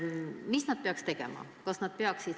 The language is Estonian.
Mida nad peaksid tegema?